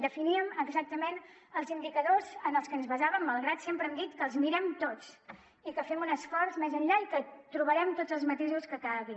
definíem exactament els indicadors en els que ens basàvem malgrat que sempre hem dit que els mirem tots i que fem un esforç més enllà i que trobarem tots els matisos que calguin